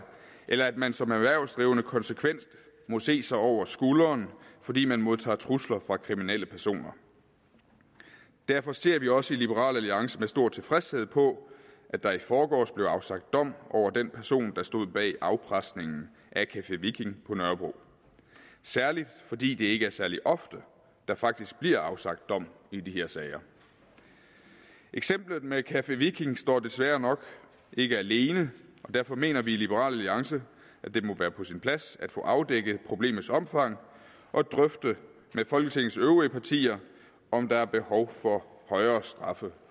eller at man som erhvervsdrivende konsekvent må se sig over skulderen fordi man modtager trusler fra kriminelle personer derfor ser vi også i liberal alliance med stor tilfredshed på at der i forgårs blev afsagt dom over den person der stod bag afpresningen af café viking på nørrebro særligt fordi det ikke er særlig ofte at der faktisk bliver afsagt dom i de her sager eksemplet med café viking står desværre nok ikke alene og derfor mener vi i liberal alliance at det må være på sin plads at få afdækket problemets omfang og drøfte med folketingets øvrige partier om der er behov for højere straffe